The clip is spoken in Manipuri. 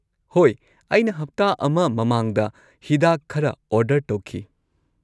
ꯍꯣꯏ, ꯑꯩꯅ ꯍꯞꯇꯥ ꯑꯃ ꯃꯃꯥꯡꯗ ꯍꯤꯗꯥꯛ ꯈꯔ ꯑꯣꯔꯗꯔ ꯇꯧꯈꯤ